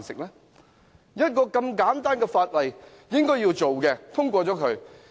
一項這麼簡單的議案，便應該通過它。